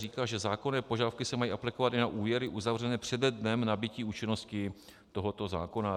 Říká, že zákonné požadavky se mají aplikovat i na úvěry uzavřené přede dnem nabytí účinnosti tohoto zákona.